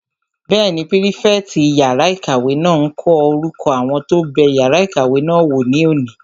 Bẹ́ẹ̀ni, pírífẹ̀tì yàrá-ìkàwé náà n kọ orúkọ àwọn tó bẹ yàrá ìkàwé náà wò ní òní